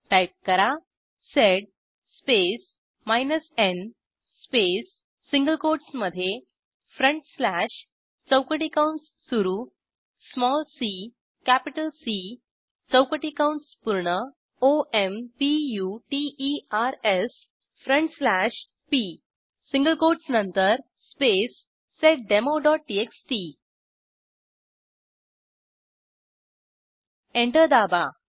type करा sed space n space single कोटसमधे चौकटी कंस सुरू सीसी चौकटी कंस पूर्ण omputersपी सिंगल कोटस नंतरspace seddemoटीएक्सटी एंटर दाबा